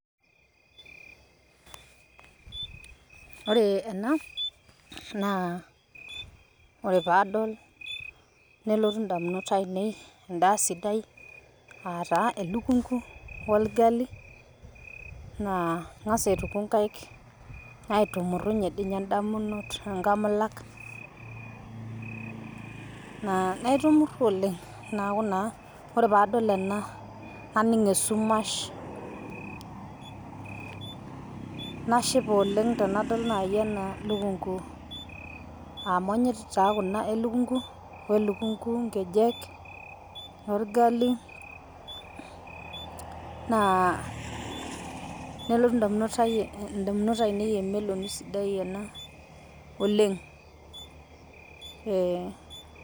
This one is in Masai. Ore ena naa ore paadol nelotu indamunot ainei indaa sidai aataa elukunku olgali naa ing'as aituko inkaik, aitumurunye dei ninye indamunot inkamulak naitunuru oleng naa ku naa ore paadol ena naning' esumash nashipa oleng tenadol nai ena irlukunku amu anyorr chaake kuna elukunku inkejek olgali naa nelotu indamunot aainei emeloki sidai ena oleng.